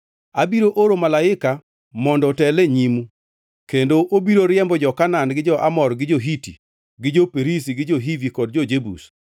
Abiro oro Malaika mondo otel e nyimu kendo obiro riembo jo-Kanaan gi jo-Amor gi jo-Hiti gi jo-Perizi gi jo-Hivi kod jo-Jebus.